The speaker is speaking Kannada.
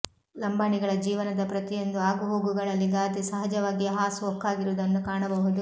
ಲಂಬಾಣಿಗಳ ಜೀವನದ ಪ್ರತಿಯೊಂದು ಆಗುಹೋಗುಗಳಲ್ಲಿ ಗಾದೆ ಸಹಜವಾಗಿಯೇ ಹಾಸು ಹೊಕ್ಕಾಗಿರುವುದನ್ನು ಕಾಣಬಹುದು